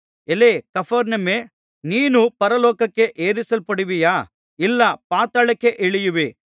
ಎಲೈ ಕಪೆರ್ನೌಮೇ ನೀನು ಪರಲೋಕಕ್ಕೆ ಏರಿಸಲ್ಪಡುವಿಯಾ ಇಲ್ಲ ಪಾತಾಳಕ್ಕೇ ಇಳಿಯುವಿ